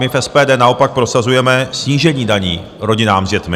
My v SPD naopak prosazujeme snížení daní rodinám s dětmi.